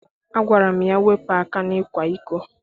Agwara m ya, wepụ aka n'ịkwa iko!